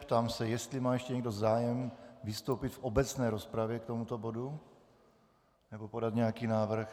Ptám se, jestli má ještě někdo zájem vystoupit v obecné rozpravě k tomuto bodu nebo podat nějaký návrh.